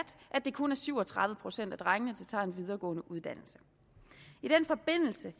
det kun er syv og tredive procent af drengene der tager en videregående uddannelse i den forbindelse